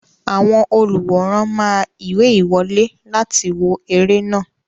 Àwọn olùwòran máa ìwé ìwọlé láti wo eré náà.